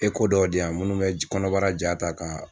dɔw di yan minnu bɛ kɔnɔbara ja ta ka